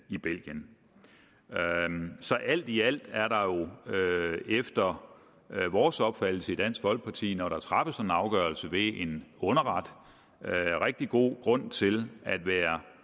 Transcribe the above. i belgien så alt i alt er der efter vores opfattelse i dansk folkeparti når der træffes en afgørelse ved en underret rigtig god grund til at være